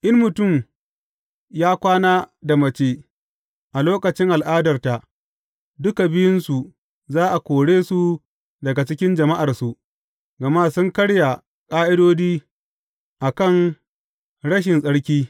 In mutum ya kwana da mace a lokacin al’adarta, duka biyunsu za a kore su daga cikin jama’arsu, gama sun karya ƙa’idodi a kan rashi tsarki.